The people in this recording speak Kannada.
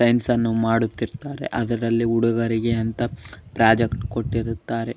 ಟೈಮ್ಸ್ ಅನ್ನು ಮಾಡುತ್ತಿರತ್ರೆ ಅದರಲ್ಲಿ ಹುಡುಗರಿಗೆ ಅಂತ ಪ್ರಾಜೆಕ್ಟ್ ಕೊಟ್ಟಿರುತ್ತಾರೆ --